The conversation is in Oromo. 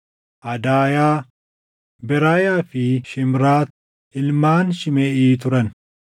Adaayaa, Beraayaa fi Shiimraat ilmaan Shimeʼii turan.